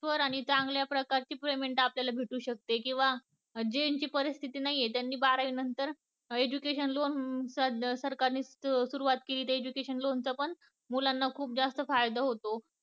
मिळतील आणि चांगल्या प्रकारची payment आपल्याला मिळतील भेटू शकते किंवा ज्यांची परिस्थिती नाहीये त्यांनी बारावी नंतर education ला सध्या सरकार ने सुरवात केली education loan च पण मुलांना खूप जास्त फायदा होतो